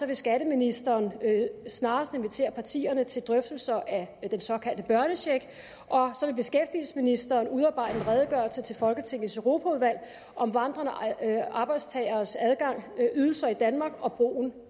vil skatteministeren snarest invitere partierne til drøftelser af den såkaldte børnecheck og så vil beskæftigelsesministeren udarbejde en redegørelse til folketingets europaudvalg om vandrende arbejdstageres ydelser i danmark og brugen